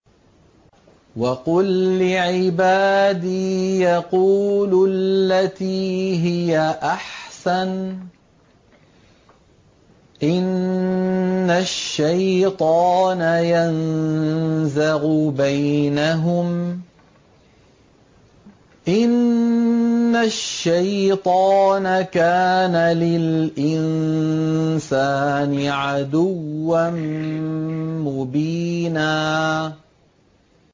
وَقُل لِّعِبَادِي يَقُولُوا الَّتِي هِيَ أَحْسَنُ ۚ إِنَّ الشَّيْطَانَ يَنزَغُ بَيْنَهُمْ ۚ إِنَّ الشَّيْطَانَ كَانَ لِلْإِنسَانِ عَدُوًّا مُّبِينًا